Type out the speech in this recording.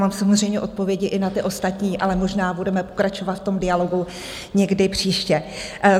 Mám samozřejmě odpovědi i na ty ostatní, ale možná budeme pokračovat v tom dialogu někdy příště.